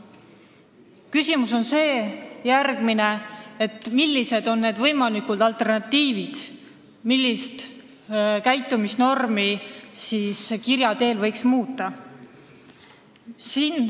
Järgmine küsimus on, millised on võimalikud alternatiivid, millist käitumisnormi võiks kirja teel muuta.